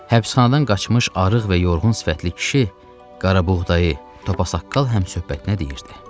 Həbsxanadan qaçmış arıq və yorğun sifətli kişi qarabuğdayı, topasaqqal həmsöhbətinə deyirdi: